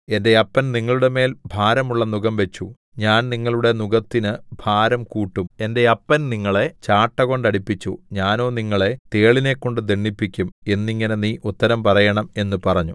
എന്റെ അപ്പൻ നിങ്ങളുടെമേൽ ഭാരമുള്ള നുകം വെച്ചു ഞാൻ നിങ്ങളുടെ നുകത്തിന് ഭാരം കൂട്ടും എന്റെ അപ്പൻ നിങ്ങളെ ചാട്ടകൊണ്ട് അടിപ്പിച്ചു ഞാനോ നിങ്ങളെ തേളിനെക്കൊണ്ട് ദണ്ഡിപ്പിക്കും എന്നിങ്ങനെ നീ ഉത്തരം പറയേണം എന്നു പറഞ്ഞു